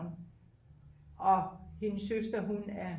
og hendes søster hun er